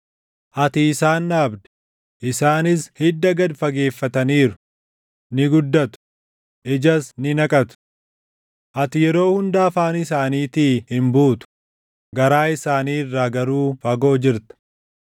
Ati isaan dhaabde; isaanis hidda gad fageeffataniiru; ni guddatu; ijas ni naqatu. Ati yeroo hunda afaan isaaniitii hin buutu; garaa isaanii irraa garuu fagoo jirta.